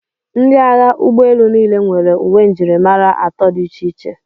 Ndị agha ụgbọelu niile nwere uwe njirimara atọ dị iche iche.